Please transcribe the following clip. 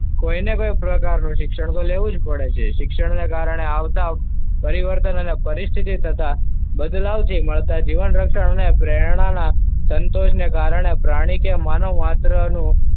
કોઈને અનેક પ્રકારનું શિક્ષણ લેવું જ પડે. શિક્ષણને કારણે આવતા પરિવર્તન અને પરિસ્થિતિ તથા બદલાવ છે. અને પ્રેરણા ના સંતોષને કારણે પ્રાણી કેમ માનવ માત્રનું,